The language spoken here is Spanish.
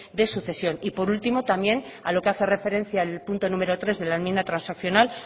de sucesión y por último también a lo que hace referencia al punto número tres de la enmienda transaccional